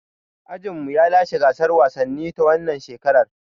Ajinmu ya lashe gasar wasannin ta wannan shekarar.